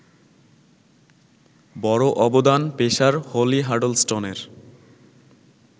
বড় অবদান pacer Holly হাডলসটনের